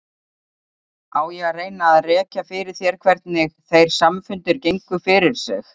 Á ég að reyna að rekja fyrir þér hvernig þeir samfundir gengu fyrir sig?